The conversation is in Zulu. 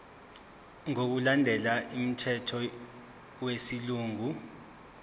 ngokulandela umthetho wesilungu